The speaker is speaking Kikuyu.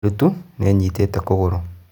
Ndutu nĩĩnyitĩte kũgũrũ.